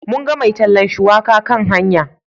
Mun ga mai tallan shuwaka kan hanya.